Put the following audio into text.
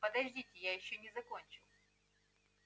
подождите я ещё не закончил